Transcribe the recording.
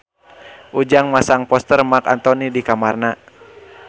Ujang masang poster Marc Anthony di kamarna